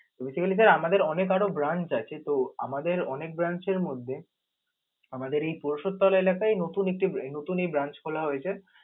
basically sir আমাদের অনেক আরও branch আছে তো আমাদের আনেক branch এর মধ্যে আমাদের এই পরিশদ তলা এলাকাই নতুন একটি~ নতুন এই branch খোলা হয়েছ.